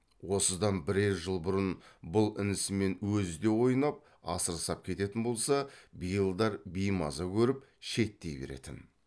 осыдан бірер жыл бұрын бұл інісімен өзі де ойнап асыр сап кететін болса биылдар беймаза көріп шеттей беретін